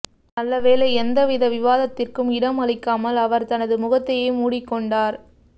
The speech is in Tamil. நல்ல வேளை எந்தவித விவாததிற்கும் இடம் அளிக்காமல் அவர் தனது முகத்தையே மூடிக்கொண்டார்